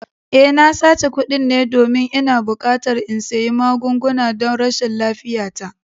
Eh, na sace kuɗin ne domin ina buƙatar in sayi magunguna don rashin lafiyata